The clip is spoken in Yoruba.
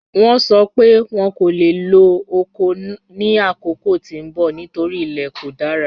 Wọ́n sọ́ pé wọ́n kò le lọ́ ọkọ̀ ni akókò tí n bọ̀ nítorí ilẹ̀ kò dára.